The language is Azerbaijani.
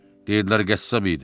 Deyirdilər qəssab idi.